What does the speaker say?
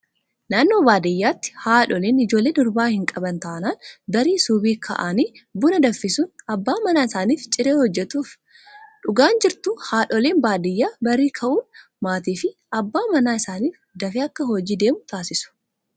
Naannoo baadiyyaatti haadholiin ijoollee durbaa hin qaban taanaan barii subii ka'anii buan danfisuun abbaa manaa isaaniif ciree hojjatuuf. Dhugaan jirtu haadholiin baadiyyaa barii ka'uun maatii fi abbaa manaa isaanii dafee akka hojii deemu taasisu.